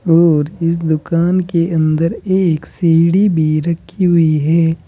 और इस दुकान के अंदर एक सीढ़ी भी रखी हुई है।